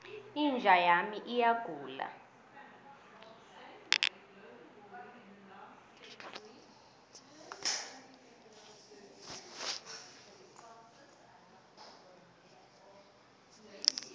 inja yami iyagula